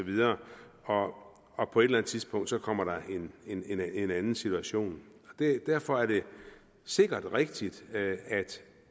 og og på et eller andet tidspunkt kommer der en anden situation derfor er det sikkert rigtigt at